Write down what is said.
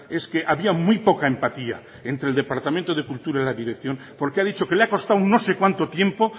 es que había muy poca empatía entre el departamento de cultura y la dirección porque ha dicho que le ha costado no sé cuánto tiempo